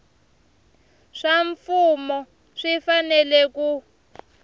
swa mfumo swi fanele ku